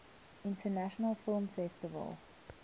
international film festival